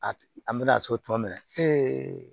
A an bɛna so tɔ minɛ